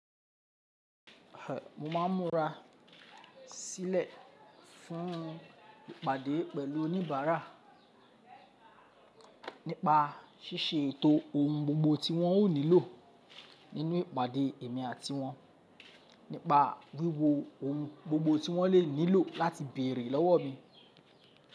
Mo máa ń múra sílẹ̀ fún ìpàdé pẹ̀lú oníbàárà nípa ṣíṣe ètò ohun gbogbo tí wọ́n ó nílò nínú ìpàdé èmi àti wọn, nípa wíwo ohun gbogbo tí wọ́n lè nílò láti bèrè lọ́wọ́ mi.